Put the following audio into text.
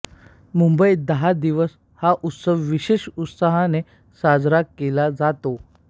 मुंबईत दहा दिवस हा उत्सव विशेष उत्साहाने साजरा केला जातो